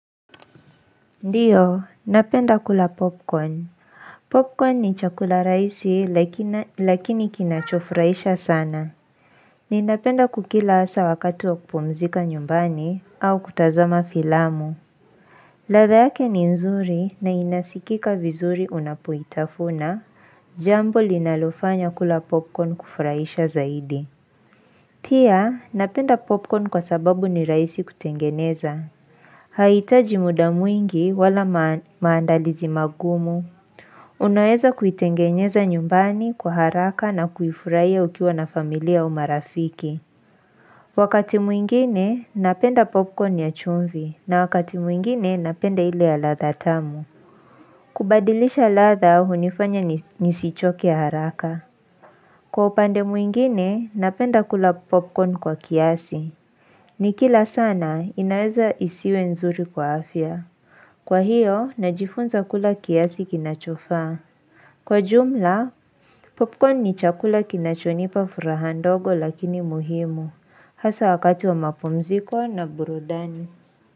Ndiyo napenda kula popcorn popcorn ni chakula rahisi lakini kinachofuraisha sana ninapenda kukila asa wakatu wa kupumzika nyumbani au kutazama filamu ladha yake ni nzuri na inasikika vizuri unapoitafuna jambo linalofanya kula popcorn kufurahisha zaidi pia napenda popcorn kwa sababu ni rahisi kutengeneza Haitaji muda mwingi wala maandalizi magumu Unaweza kuitengenyeza nyumbani kwa haraka na kuifurahiya ukiwa na familia au marafiki Wakati mwingine napenda popcorn ya chumvi na wakati mwingine napenda ili ya ladha tamu kubadilisha ladha hunifanya nisichoke ya haraka Kwa upande mwingine napenda kula popcorn kwa kiasi Nikila sana inaweza isiwe nzuri kwa afya Kwa hiyo, najifunza kula kiasi kinachofaa. Kwa jumla, popcorn ni chakula kinachonipa furaha ndogo lakini muhimu. Hasa wakati wa mapumziko na burudani.